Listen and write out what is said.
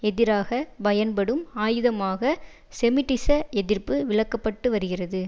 எதிராக பயன்படும் ஆயுதமாக செமிட்டிச எதிர்ப்பு விளக்கப்பட்டு வருகிறது